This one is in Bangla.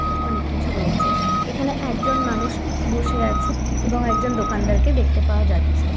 অনেক কিছু রয়েছে। এখানে একজন মানুষ বসে আছে এবং একজন দোকানদারকে দেখতে পাওয়া যাচ্ছে।